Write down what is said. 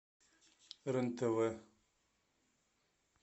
рен тв